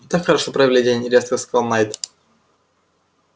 мы так хорошо провели день резко сказал найд